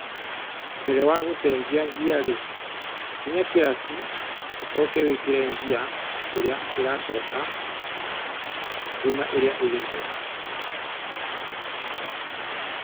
Mbere wa gũcenjia ngiarĩ, kinya kĩraci ũcoke wĩkĩre ngia ĩrĩa ĩracoka kuma ĩrĩa ĩho.